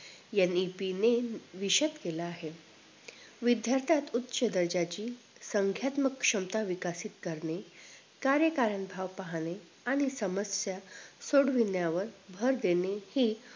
NEP विशेतः केला आहे विद्यार्थ्यात उच्च दर्जाची संख्यात्मक क्षमता विकसित करणे कार्यकाळ भाव पाहणे आणि संमाश्या सोडवण्यावर भर देणे हि